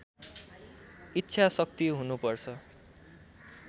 इच्छा शक्ति हुनुपर्छ